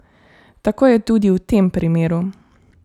Tako je tudi v tem primeru.